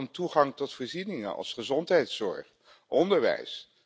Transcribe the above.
Het gaat ook om toegang tot voorzieningen als gezondheidszorg, onderwijs.